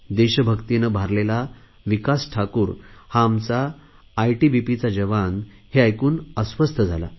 देशभक्तीने भारलेला विकास ठाकूर हा आमचा आयटीबीपीचा जवान हे ऐकून अस्वस्थ झाला